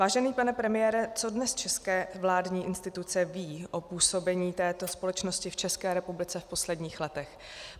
Vážený pane premiére, co dnes české vládní instituce vědí o působení této společnosti v české republice v posledních letech?